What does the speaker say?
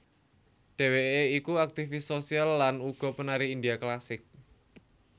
Dheweké iku aktifis sosial lan uga penari India klasik